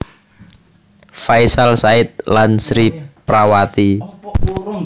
Faisal Said lan Sri Prawati